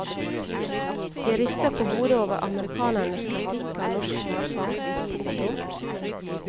Vi rister på hodet over amerikanernes kritikk av norsk hvalfangst. punktum